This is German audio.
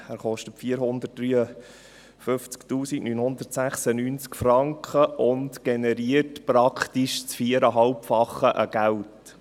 Er kostet 453 996 Franken und generiert praktisch das Viereinhalbfache an Geld.